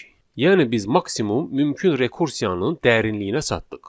Yəni biz maksimum mümkün rekursiyanın dərinliyinə çatdıq.